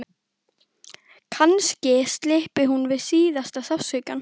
Kannski slyppi hún við síðasta sársaukann.